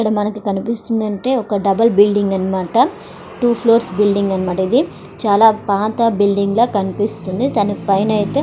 ఇక్కడ మనకి కనిపిస్తుంది ఏంటంటే ఒక డబల్ బిల్డింగ్ అనమాట టు ఫ్లోర్ బిల్డింగ్ అనమాట ఇది చాలా పాత బిల్డింగ్ లాగా కనిపిస్తుంది దాని పైన ఐతే --